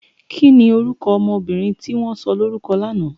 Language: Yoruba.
Kini órúkò òmò óbìrín tiwòn sòlórúkò làná?